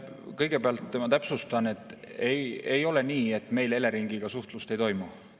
Kõigepealt ma täpsustan, et ei ole nii, et meil Eleringiga suhtlust ei toimu.